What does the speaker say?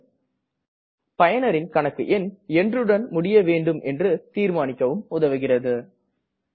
மேலும் பயனரின் கணக்கு என்றுடன் முடிய வேண்டும் என்று தீர்மானிக்க உதவுகிறது